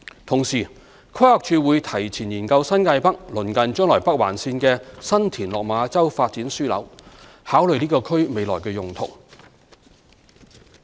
同時，規劃署會提前研究新界北鄰近將來北環線的新田/落馬洲發展樞紐，考慮該區的未來用途。